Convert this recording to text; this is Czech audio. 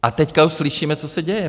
A teď už slyšíme, co se děje.